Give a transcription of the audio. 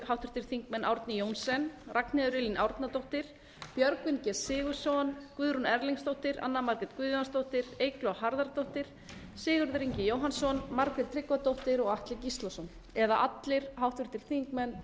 háttvirtir þingmenn árni johnsen ragnheiður e árnadóttir björgvin g sigurðsson guðrún erlingsdóttir anna margrét guðjónsdóttir eygló harðardóttir sigurður ingi jóhannsson margrét tryggvadóttir og atli gíslason eða allir háttvirtir þingmenn